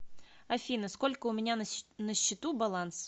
афина сколько у меня на счету баланс